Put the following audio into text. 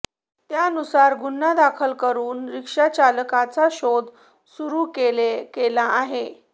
त्यानुसार गुन्हा दाखल करून रिक्षाचालकाचा शोध सुरू केला आहे